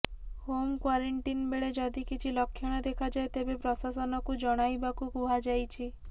home quarantine ବେଳେ ଯଦି କିଛି ଲକ୍ଷଣ ଦେଖାଯାଏ ତେବେ ପ୍ରଶାସନକୁ ଜଣାଇବାକୁ କୁହାଯାଇଛି